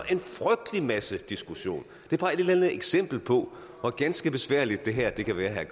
en frygtelig masse diskussion det er bare et eksempel på hvor ganske besværligt det her kan være